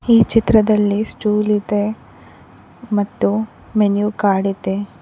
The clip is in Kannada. ಈ ಚಿತ್ರದಲ್ಲಿ ಸ್ಟೂಲ್ ಇದೆ ಮತ್ತು ಮೆನು ಕಾರ್ಡ್ ಇದೆ.